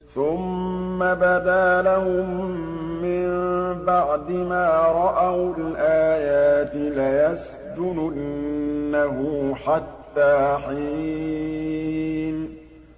ثُمَّ بَدَا لَهُم مِّن بَعْدِ مَا رَأَوُا الْآيَاتِ لَيَسْجُنُنَّهُ حَتَّىٰ حِينٍ